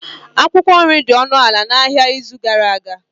Akwukwo nri dị ọnụ ala n'ahịa n'izu gara aga.